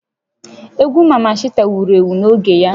Egwu Maman Shata wuru ewu n'oge ya